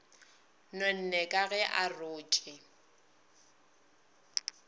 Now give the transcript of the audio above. nonne ka ge a rotše